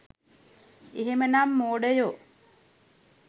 එහෙමනම් මෝඩයෝ